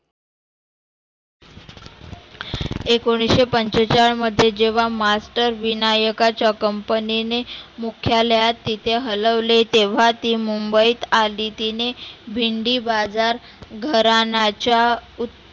एकोणीसशे पंचेचाळमध्ये जेव्हा मास्तर विनायकाच्या company ने मुख्यालयात तीचे हलवले तेव्हा ती मुंबईत आली. तीने भेंडी बाजार घराण्याचा उत